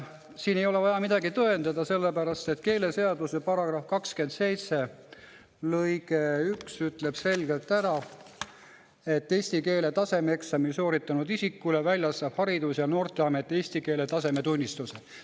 Siin ei ole vaja midagi tõendada, sellepärast et keeleseaduse § 27 lõige 1 ütleb selgelt ära, et eesti keele tasemeeksami sooritanud isikule väljastab Haridus‑ ja Noorteamet eesti keele tasemetunnistuse.